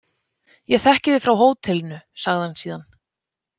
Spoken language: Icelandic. Ég þekki þig frá hótelinu, sagði hann síðan.